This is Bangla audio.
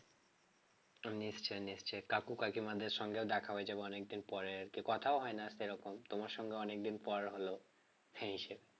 নিশ্চয় নিশ্চয় কাকু কাকিমাদের সঙ্গেও দেখা হয়ে যাবে অনেকদিন পরে আর কি কথাও হয় না সেরকম তোমার সঙ্গে অনেকদিন পর হল